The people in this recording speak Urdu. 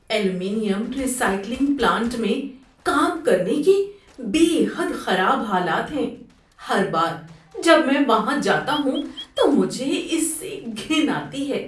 ایلومینیم ری سائیکلنگ پلانٹ میں کام کرنے کے بے حد خراب حالات ہیں، ہر بار جب میں وہاں جاتا ہوں تو مجھے اس سے گھن آتی ہے۔